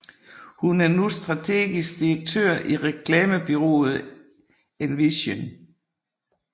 Hun er nu strategisk direktør i reklamebureauet Envision